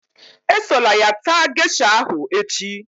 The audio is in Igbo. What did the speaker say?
Esola ya taa gesha ahụ echi